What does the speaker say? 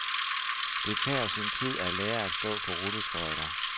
Det tager sin tid at lære at stå på rulleskøjter.